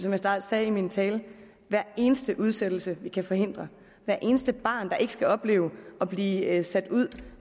sagde i min tale er hver eneste udsættelse vi kan forhindre hvert eneste barn der ikke skal opleve at blive sat ud